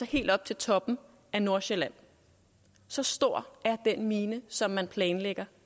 helt op til toppen af nordsjælland så stor er den mine som man planlægger